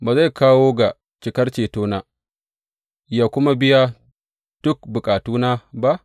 Ba zai kawo ga cikar cetona yă kuma biya duk bukatuna ba?